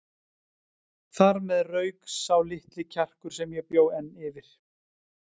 Þar með rauk sá litli kjarkur sem ég bjó enn yfir.